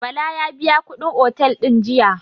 Bala ya biya kuɗin otel din jiya.